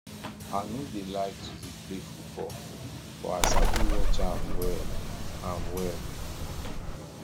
i no dey like to play football but i sabi watch am well am well